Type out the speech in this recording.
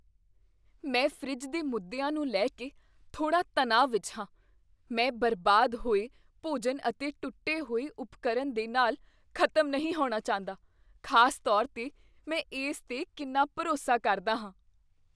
ਮੈਨੂੰ ਫਰਿੱਜ ਦੇ ਮੁੱਦਿਆਂ ਨੂੰ ਲੈ ਕੇ ਥੋੜ੍ਹਾ ਤਣਾਅ ਵਿਚ ਹਾਂ, ਮੈਂ ਬਰਬਾਦ ਹੋਏ ਭੋਜਨ ਅਤੇ ਟੁੱਟੇ ਹੋਏ ਉਪਕਰਨ ਦੇ ਨਾਲ ਖ਼ਤਮ ਨਹੀਂ ਹੋਣਾ ਚਾਹੁੰਦਾ, ਖ਼ਾਸ ਤੌਰ 'ਤੇ ਮੈਂ ਇਸ 'ਤੇ ਕਿੰਨਾ ਭਰੋਸਾ ਕਰਦਾ ਹਾਂ।